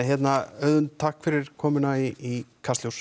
Auðunn takk fyrir komuna í Kastljós